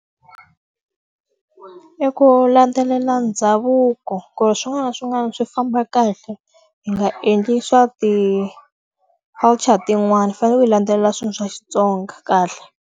I ku landzelela ndhavuko ku ri swin'wana na swin'wana swi famba kahle, hi nga endli swa ti-culture tin'wani hi fanele ku hi landzelela swilo swa xitsonga kahle.